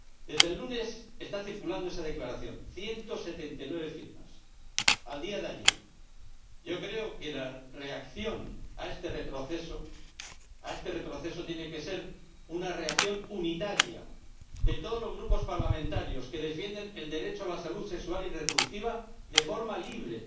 Desde el lunes está circulando esa declaración 179 firmas, a día de ayer. Yo creo que la reacción a este retroceso tiene que ser una reacción unitaria, de todos los grupos parlamentarios que defienden el derecho a la salud sexual y reproductiva de forma libre.